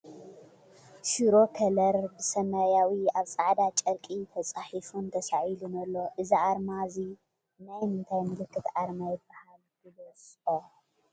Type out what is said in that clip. ሽሮ ከለር ብሰማያዊ ኣብ ፃዕዳ ጨርቂ ተፃሒፉን ተሳኢሉን ኣሎ ። እዚ ኣርማ እዚ ናይ መንታይ ምልክት ኣርማ ይበሃል ግለፆ ?